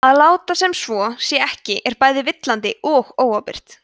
að láta sem svo sé ekki er bæði villandi og óábyrgt